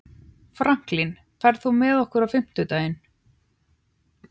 Franklin, ferð þú með okkur á fimmtudaginn?